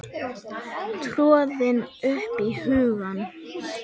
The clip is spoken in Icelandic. tröðin upp í hugann.